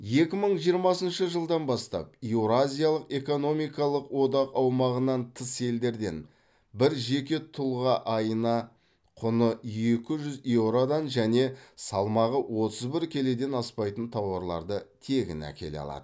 екі мың жиырмасыншы жылдан бастап еуразиялық экономикалық одақ аумағынан тыс елдерден бір жеке тұлға айына құны екі жүз еуродан және салмағы отыз бір келіден аспайтын тауарларды тегін әкеле алады